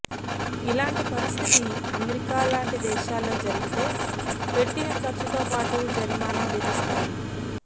ఇలాంటి పరిస్థితి అమెరికా లాంటి దేశాల్లో జరిగితే పెట్టిన ఖర్చుతో పాటు జరిమానా విధిస్తాయి